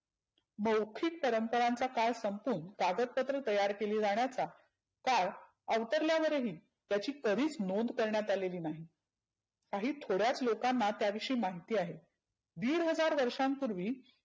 मौखीक परंपरांचा काळ संपवून कागदपत्र तयार केली जाण्याचा काळ आवतरल्यावर ही त्याची कधिच नोंद करण्यात आलेली नाही. काही थोड्याच लोकांना त्या विषयी माहिती आहे. दिड हजार वर्षांपुर्वी